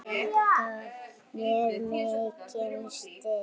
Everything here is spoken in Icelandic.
Það gaf mér mikinn styrk.